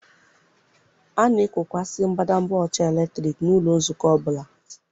A na-ekokwasị mbadamba ọcha eletrik n'ụlọ nzukọ ọ bụla.